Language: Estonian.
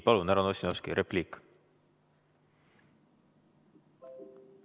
Palun, härra Ossinovski, repliik!